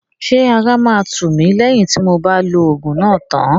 Ṣé ara máa tù mí lẹ́yìn tí mob á lo òògùn náà tán?